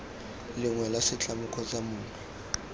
lengwe la setlamo kgotsa mongwe